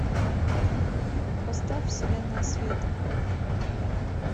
поставь вселенная света